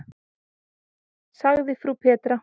sagði frú Petra.